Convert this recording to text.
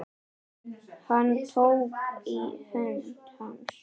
Hann tók í hönd hans.